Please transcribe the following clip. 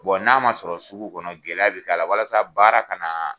n'a ma sɔrɔ sugu kɔnɔ gɛlɛya bɛ k'a la walasa baara kana